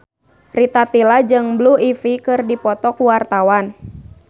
Rita Tila jeung Blue Ivy keur dipoto ku wartawan